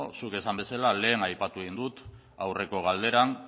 zuk esan bezela lehen aipatu egin dut aurreko galderan